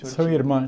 São